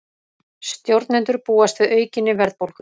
Stjórnendur búast við aukinni verðbólgu